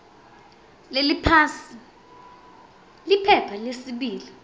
leliphansi liphepha lesibili